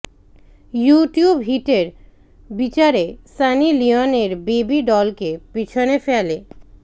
you tube হিটের বিচারে Sunny লিওনের বেবি ডলকে পিছনে ফেলে